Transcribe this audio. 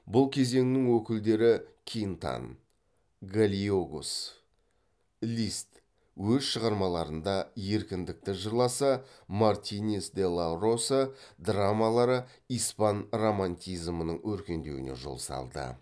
бұл кезеңнің өкілдері кинтан гальегос лист өз шығармаларында еркіндікті жырласа мартинес де ла роса драмалары испан романтизмінің өркендеуіне жол салды